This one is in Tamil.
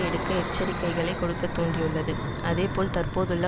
எடுக்க எச்சரிக்கைகளை கொடுக்க தூண்டியுள்ளது அதேபோல் தற்போதுள்ள